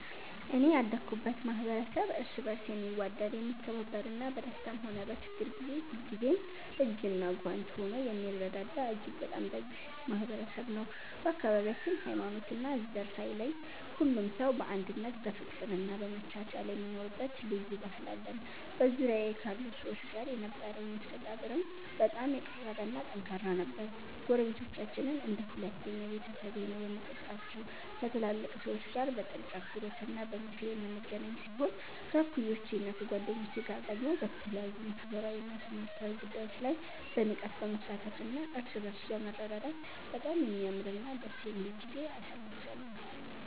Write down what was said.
እኔ ያደኩበት ማኅበረሰብ እርስ በርስ የሚዋደድ፣ የሚከባበርና በደስታም ሆነ በችግር ጊዜ ሁልጊዜም እጅና ጓንት ሆኖ የሚረዳዳ እጅግ በጣም ደግ ማኅበረሰብ ነው። በአካባቢያችን ሃይማኖትና ዘር ሳይለይ ሁሉም ሰው በአንድነት በፍቅርና በመቻቻል የሚኖርበት ልዩ ባህል አለን። በዙሪያዬ ካሉ ሰዎች ጋር የነበረኝ መስተጋብርም በጣም የቀረበና ጠንካራ ነበር። ጎረቤቶቻችንን እንደ ሁለተኛ ቤተሰቤ ነው የምቆጥራቸው፤ ከትላልቅ ሰዎች ጋር በጥልቅ አክብሮትና በምክር የምንገናኝ ሲሆን፣ ከእኩዮቼና ከጓደኞቼ ጋር ደግሞ በተለያዩ ማኅበራዊና ትምህርታዊ ጉዳዮች ላይ በንቃት በመሳተፍና እርስ በርስ በመረዳዳት በጣም የሚያምርና ደስ የሚል ጊዜ አሳልፌአለሁ።